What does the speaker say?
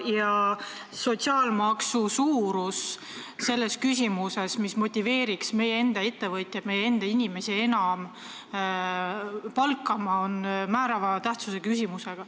Ja sotsiaalmaksu suurus selles küsimuses, mis motiveeriks meie enda ettevõtjaid enam meie enda inimesi palkama, on määrava tähtsusega küsimus.